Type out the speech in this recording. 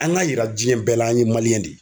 An ka yira diɲɛ bɛɛ la an ye de ye.